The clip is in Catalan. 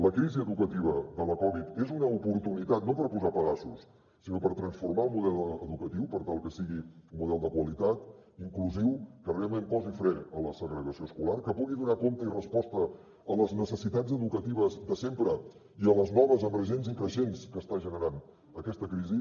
la crisi educativa de la covid és una oportunitat no per posar pedaços sinó per transformar el model educatiu per tal que sigui un model de qualitat inclusiu que realment posi fre a la segregació escolar que pugui donar compte i resposta a les necessitats educatives de sempre i a les noves emergents i creixents que està generant aquesta crisi